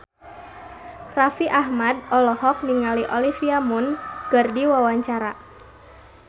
Raffi Ahmad olohok ningali Olivia Munn keur diwawancara